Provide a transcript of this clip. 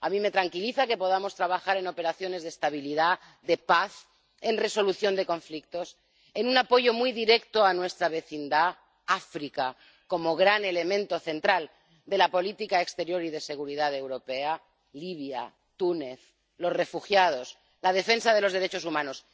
A mí me tranquiliza que podamos trabajar en operaciones de estabilidad, de paz, en resolución de conflictos, en un apoyo muy directo a nuestra vecindad, África como gran elemento central de la política exterior y de seguridad europea, Libia, Túnez, los refugiados, la defensa de los derechos humanos.